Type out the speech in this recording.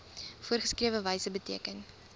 voorgeskrewe wyse beteken